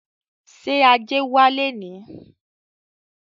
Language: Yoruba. Ṣé ajé wá léèní?